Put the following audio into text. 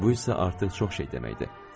Bu isə artıq çox şey deməkdir.